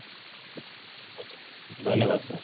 ଧନ୍ୟବାଦ sir